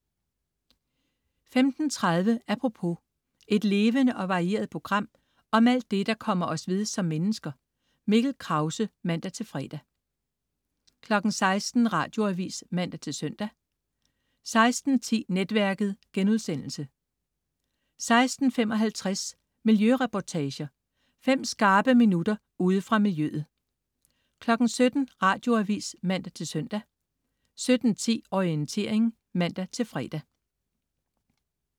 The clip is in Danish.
15.30 Apropos. Et levende og varieret program om alt det, der kommer os ved som mennesker. Mikkel Krause (man-fre) 16.00 Radioavis (man-søn) 16.10 Netværket* 16.55 Miljøreportager. Fem skarpe minutter ude fra miljøet 17.00 Radioavis (man-søn) 17.10 Orientering (man-fre)